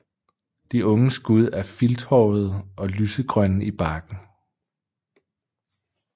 De unge skud er filthårede og lysegrønne i barken